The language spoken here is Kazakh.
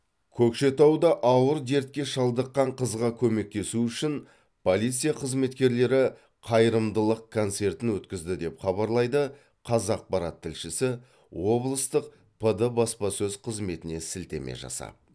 көкшетауда ауыр дертке шалдыққан қызға көмектесу үшін полиция қызметкерлері қайырымдылық концертін өткізді деп хабарлайды қазақпарат тілшісі облыстық пд баспасөз қызметіне сілтеме жасап